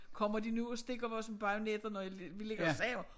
Kommer de nu og stikker os med bajonetter når jeg vi ligger og sover